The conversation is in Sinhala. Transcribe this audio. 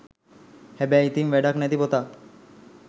හැබැයි ඉතින් වැඩක් නැති පොතක්